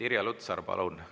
Irja Lutsar, palun, teie küsimus!